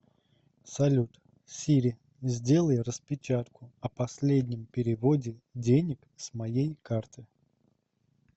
салют сири сделай распечатку о последнем переводе денег с моей карты